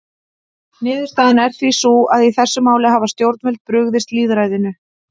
Niðurstaðan er því sú að í þessum máli hafa stjórnvöld brugðist lýðræðinu.